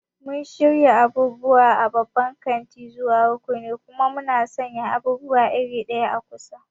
Muna shirya abubuwa a babban kanti zuwa rukuni, kuma muna sanya abubuwa iri ɗaya a kusa.